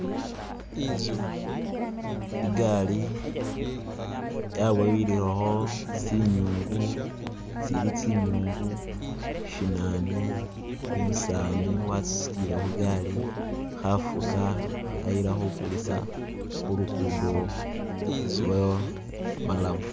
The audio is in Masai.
Igaali yabowihileho tsi'nyungu, tsili tsi'nyungu shinane, umusaani wa tsi situlile hugali hafuka, hayila hukulisa hu lukudo lwo malamu